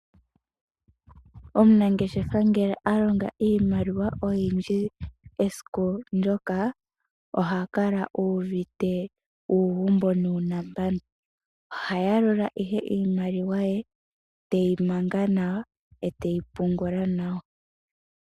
Omunangeshefa ngele alonga iimaliwa oyindji esiku ndyoka oha kala uuvite uugumbo nuunambano. Oha yalula ihe iimaliwa ye teyi manga nawa eteyi pungula nawa.